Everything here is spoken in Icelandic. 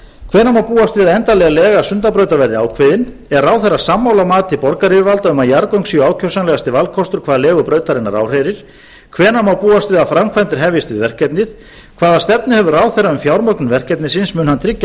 hvenær má búast við að endanleg lega sundabrautar verði ákveðin er ráðherra sammála mati borgaryfirvalda um að jarðgöng séu ákjósanlegasti valkostur hvað legu brautarinnar áhrærir hvenær má búast við að framkvæmdir hefjist við verkefnið hvaða stefnu hefur ráðherrann um fjármögnun verkefnisins mun hann tryggja